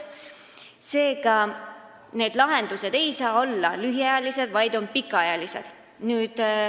Seega, need lahendused ei saa olla lühiajalised, vaid peavad olema pikaajalised.